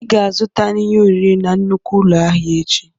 Ị ga-azụta ihe oriri na nnukwu ụlọ ahịa echi!